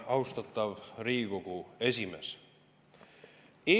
Austatav Riigikogu esimees!